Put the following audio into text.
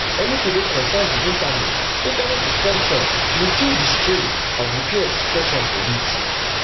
anytin wey concern di internet internet to function bin feel di strain as repairs stretch on for weeks